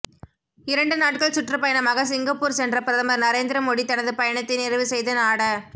இரண்டு நாட்கள் சுற்றுப்பயணமாக சிங்கப்பூர் சென்ற பிரதமர் நரேந்திர மோடி தனது பயணத்தை நிறைவு செய்து நாட